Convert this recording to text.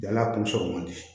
Yann'a kun sɔgɔ man di